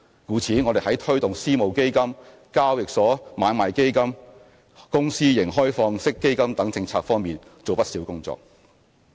故此我們在推動私募基金、交易所買賣基金、公司型開放式基金等政策方面做了不少工作。